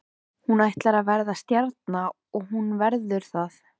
Hún ætlar að verða stjarna og hún verður það.